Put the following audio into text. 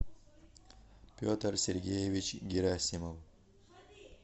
петр сергеевич герасимов